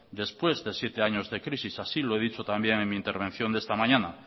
después de siete años de crisis así lo he dicho también en mi intervención de esta mañana